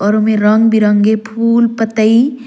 और ओमे में रंग-बिरंग के फूल पत्तई--